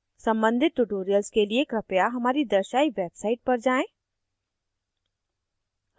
सम्बंधित tutorials के लिए कृपया हमारी दर्शायी website पर जाएँ: